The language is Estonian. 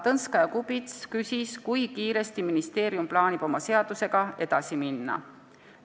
Ta küsis, kui kiiresti ministeerium plaanib oma seaduseelnõuga edasi minna.